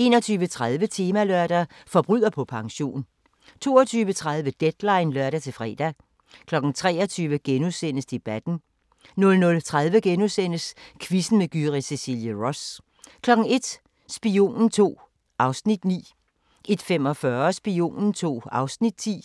21:30: Temalørdag: Forbryder på pension 22:30: Deadline (lør-fre) 23:00: Debatten * 00:30: Quizzen med Gyrith Cecilie Ross * 01:00: Spionen II (Afs. 9) 01:45: Spionen II (Afs. 10)